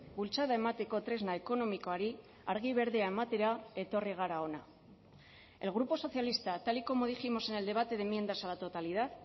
bultzada emateko tresna ekonomikoari argi berdea ematera etorri gara hona el grupo socialista tal y como dijimos en el debate de enmiendas a la totalidad